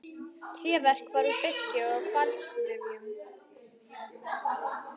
Tréverk var úr birki og hvalsrifjum.